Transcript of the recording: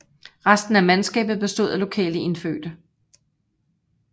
Resten af mandskabet bestod af lokale indfødte